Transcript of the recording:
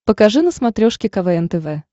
покажи на смотрешке квн тв